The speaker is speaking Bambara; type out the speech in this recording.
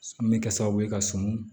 An bɛ kɛ sababu ye ka sɔn